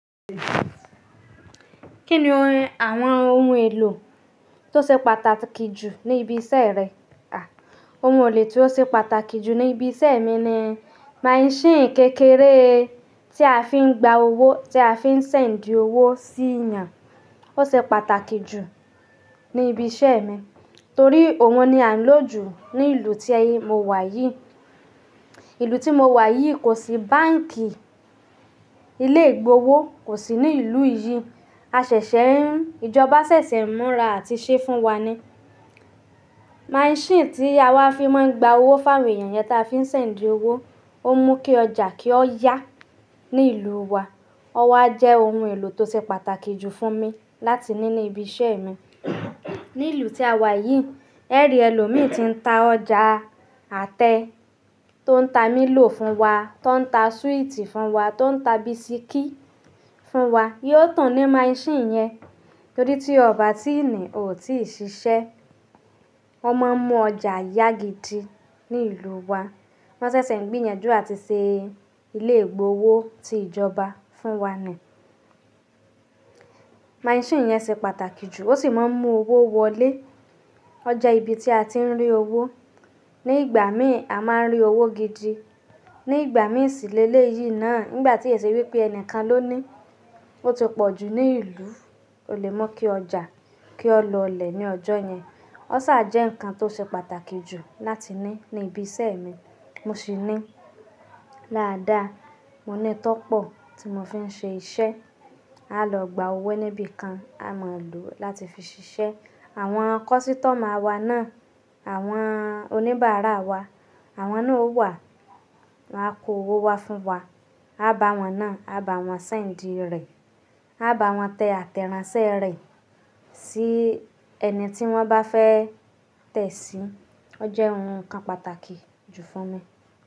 Kí ni àwọn ohun èlò tó ṣe pàtàkì jù ní ibi iṣẹ́ rẹ? À, ohun èlò tí ó ṣe pàtàkì jù ní ibi iṣẹ́ mi ni máíṣìn kékeré tí a fi ń gba owó, tí a fi ń ṣẹ̀ndi owó sí eeyàn. Ó ṣe pàtàkì jù ní ibi iṣẹ́ mi torí òun ni à ń lò jù ní ìlú tí mo wà yìí. Ìlú tí mo wà yìí kò sí báǹkì, ilé ìgbowó kò sí ní ìlú yìí. A ṣẹ̀ṣẹ̀ ń, ìjọba ṣẹ̀ṣẹ̀ ń múra àti ṣe é fún wa ni. Máíṣìn tí a máa fi máa ń gba owó fáwé èèyàn yẹn tí a fi ń ṣẹ̀ndi owó, ó mú kí ọjà kí ó yá ní ìlú wa. Ọwá jẹ́ ohun èlò tó ṣe pàtàkì jù fún mi láti ní ní ibi iṣẹ́ mi. Ní ìlú tí a wà yìí, ẹ́rí ẹlòmíì ti ń ta ọjà àtẹ́ tó ń ta mílò fún wa, tó ń ta súìtì fún wa, tó ń ta bisikí fún wa yóò tun ní máíṣìn yẹn torí tí ọba tíìnì ò tíì ṣiṣẹ́. O máa ń mú ọjà yágidi ní ìlú wa. Wọ́n ṣẹ̀ṣẹ̀ ń gbé yẹn jọ àti ṣe ilé ìgbowó ti ìjọba fún wa ni. Máíṣìn yẹn ṣe pàtàkì jù, ó sì máa ń mú owó wọlé. Ọ je ibi tí a ti ń rí owó. Ni ìgbà mi ì a máa ń rí owó gidi. Ni ìgbà mí ì ṣìlẹ̀ léyí náà, nígbà tí èsì wí pé ẹnìkan ló ní, ó ti pọ̀ jù ní ìlú, o lè mu kí ọjà kí ó lọlẹ̀ ní ọjọ́ yẹn. Ọ sáà jẹ́ nnkan tó ṣe pàtàkì jù láti ní ní ibi iṣẹ́ mi. Mo sì ní láàdá, mo ní tọ́pọ̀ tí mo fi ń ṣe iṣẹ́. A lọ gba owó níbikan a mọ̀ lò láti fi ṣiṣẹ́. Àwọn kọ́sítọ́mà wa náà, àwọn oníbàárà wa, àwọn náà ó wà, wọ́n á kó owó wá fún wa. A bá wọn náà, a bá wọn ṣẹ̀ndi rẹ̀, a bá wọn tẹ àtẹ́ranṣẹ́ rẹ̀ sí ẹni tí wọ́n bá fẹ́ tẹ̀ sí. Ó jẹ́ ohun kan pàtàkì jù fún mi.